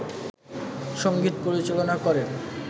সঙ্গীত পরিচালনা করেন